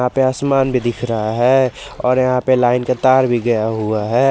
यहां पे असमान भी दिख रहा है और यहां पे लाइन का तार भी गया हुआ है।